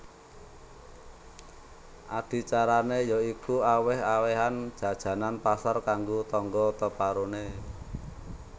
Adicarané ya iku awèh awèhan jajanan pasar kanggo tangga teparoné